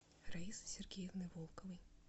раисы сергеевны волковой